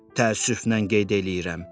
Təəssüflə qeyd eləyirəm.